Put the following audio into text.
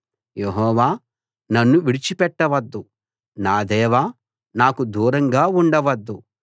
యెహోవా నన్ను విడిచిపెట్టవద్దు నా దేవా నాకు దూరంగా ఉండవద్దు